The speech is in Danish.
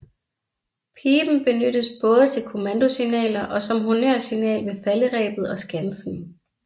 Piben benyttes både til kommandosignaler og som honnørsignal ved falderebet og skansen